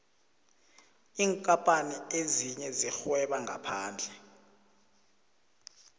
iinkapani ezinye zirhweba ngaphandle